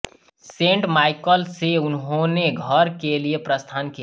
sent Michael से उन्होनें घर के लिए प्रस्थान किया